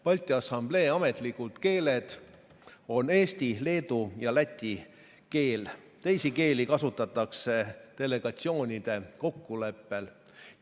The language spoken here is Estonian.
Balti Assamblee ametlikud keeled on eesti, leedu ja läti keel, teisi keeli kasutatakse delegatsioonide kokkuleppel.